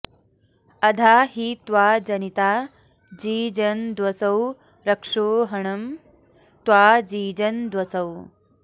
अधा॒ हि त्वा॑ जनि॒ता जीज॑नद्वसो रक्षो॒हणं॑ त्वा॒ जीज॑नद्वसो